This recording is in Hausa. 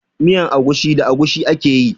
Miyan agushi da agushi ake yi.